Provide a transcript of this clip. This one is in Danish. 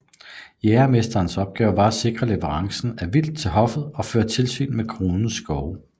Jægermesterens opgave var at sikre leverancen af vildt til hoffet og føre tilsyn med kronens skove